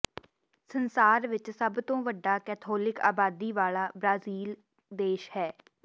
ਸੰਸਾਰ ਵਿੱਚ ਸਭ ਤੋਂ ਵੱਡਾ ਕੈਥੋਲਿਕ ਆਬਾਦੀ ਵਾਲਾ ਬ੍ਰਾਜ਼ੀਲ ਇੱਕ ਹੈ